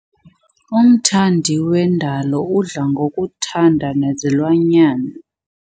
Umthandi wendalo udla ngokuthanda nezilwanyana.